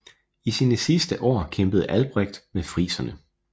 I sine sidste år kæmpede Albrecht med friserne